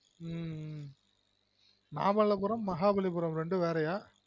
உம் மாமல்லபுரம் மஹாபலிபுரம் ரெண்டும் வேறயா?